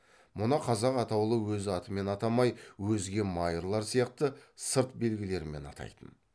мұны қазақ атаулы өз атымен атамай өзге майырлар сияқты сырт белгілерімен атайтын